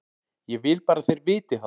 Ég vil bara að þeir viti það.